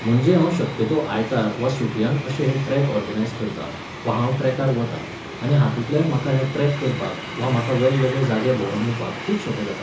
म्हणजे हांव शक्यतो आयतार वा सुटयांक अशे हे ट्रॅक ऑर्गनायज करतां, वा हांव ट्रॅकार वतां, आनी हातूंतल्यान म्हाका हे ट्रॅक करपाक वा म्हाका वेगवेगळे जागे भोंवन येवपाक खूब सोपें जाता.